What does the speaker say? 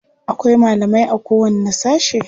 Akwai malamai.a kowanne sashe.